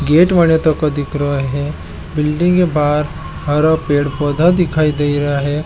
बिल्डिंग के बाहर हरा पेड़ पौधा दिखाई दे रहा है।